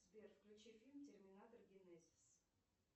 сбер включи фильм терминатор генезис